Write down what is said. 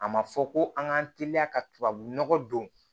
A ma fɔ ko an k'an teliya ka tubabunɔgɔ don